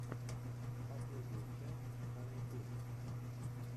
последняя часть фанни тунс